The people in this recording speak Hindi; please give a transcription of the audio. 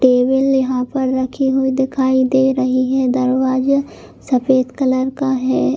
टेबल यहाँ पर रखी हुई दिखाई दे रही है. दरवाजा सफ़ेद कलर का है ।